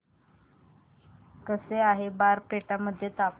कसे आहे बारपेटा मध्ये हवामान